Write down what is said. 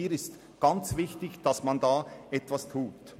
Es ist ganz wichtig, dass man da etwas tut.